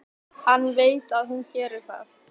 Hann veit að hún gerir það.